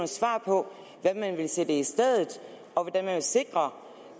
svar på hvad man vil sætte i stedet og hvordan man vil sikre